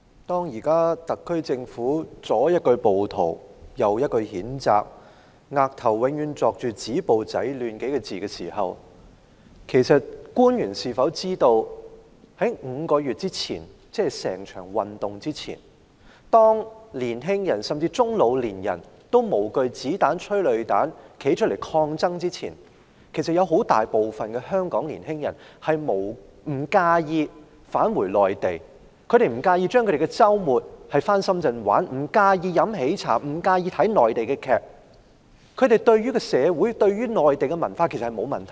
主席，特區政府左一句暴徒，右一句譴責，額頭永遠刻上"止暴制亂"幾個字，其實官員是否知道在5個月前，即這種運動之前，年青人或中老年人都無懼子彈、催淚彈站出來抗爭之前，其實有很大部分香港年青人不介意返回內地，不介意周末到深圳玩樂，不介意喝喜茶，不介意看內地劇集，他們對於社會或內地文化完全沒有抗拒。